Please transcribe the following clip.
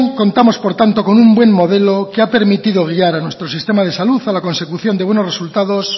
contamos por tanto con un buen modelo que ha permitido guiar a nuestro sistema de salud a la consecución de buenos resultados